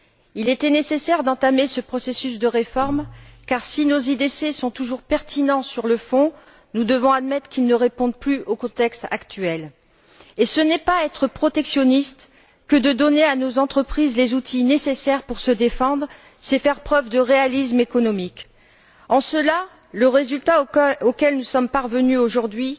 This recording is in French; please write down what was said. Il était nécessaire d'entamer ce processus de réforme car si nos instruments de défense commerciale sont toujours pertinents sur le fond, nous devons admettre qu'ils ne répondent plus au contexte actuel. Ce n'est pas être protectionniste que de donner à nos entreprises les outils nécessaires pour se défendre, c'est faire preuve de réalisme économique. En cela, le résultat auquel nous sommes parvenus aujourd'hui